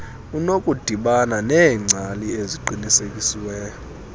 unokudibana neengcali eziqinisekisiweyo